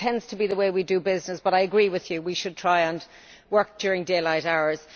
It tends to be the way we do business, but I agree that we should try and work during daylight hours.